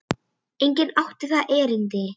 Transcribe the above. Enginn átti þangað erindi.